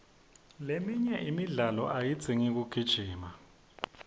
leminye imidlalo ayidzingi kugijima